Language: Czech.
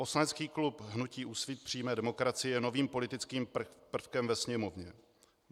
Poslanecký klub hnutí Úsvit přímé demokracie je novým politickým prvkem ve Sněmovně.